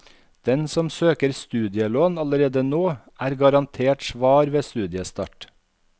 Den som søker studielån allerede nå, er garantert svar ved studiestart.